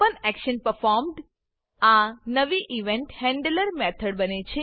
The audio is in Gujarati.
OpenActionPerformed આ નવી ઇવેન્ટ હેન્ડલર મેથડ બને છે